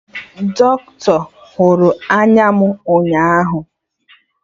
Dọkịta hụrụ anya m ụnyaahụ